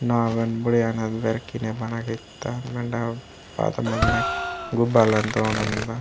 नाव वेन बढ़िया नद दर खिने बना केता मंडा पाल नक गुबालन टोनमक --